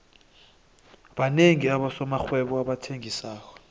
banengi abosomarhwebo abathengisako